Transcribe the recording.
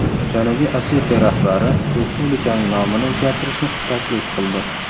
Janubiy Osetiya rahbari respublikaning nomini o‘zgartirishni taklif qildi.